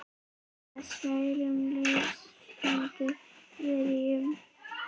með skærum, lýsandi bjarma